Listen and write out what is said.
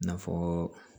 N'a fɔ